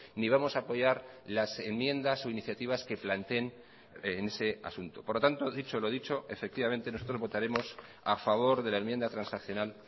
ni vamos a apoyar las enmiendas o iniciativas que planteen en ese asunto por lo tanto dicho lo dicho efectivamente nosotros votaremos a favor de la enmienda transaccional